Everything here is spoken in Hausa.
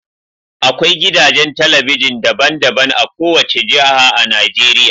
Akwai gidajen talabijin daban-daban a kowace jiha a Najeriya.